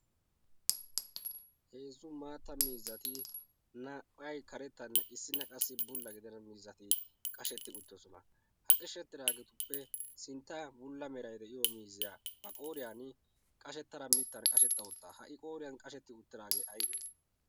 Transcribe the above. heezzu maatta miizzati naapphai karettanne issinna qassi bulla gidena miizzati qashetti uttidosona ha qishshettiraageetuppe sintta bulla merai de'iyo miizziyaa maqooriyan qashettara mittan qashetta uttaa ha"i qooriyan qashetti uttiraagee aybee?